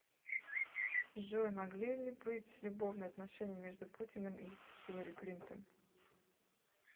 джой могли ли быть любовные отношения между путиным и хилари клинтон